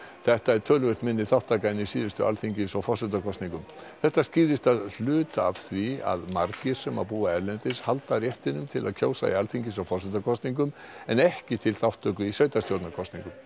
þetta er töluvert minni þátttaka en í síðustu Alþingis og forsetakosningum þetta skýrist að hluta af því að margir sem búa erlendis halda réttinum til að kjósa í Alþingis og forsetakosningum en ekki til þátttöku í sveitarstjórnarkosningum